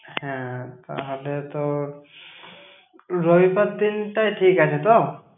হ্যাঁ, তাহলে তোর রবিবার দিনটাই ঠিক আছে তো?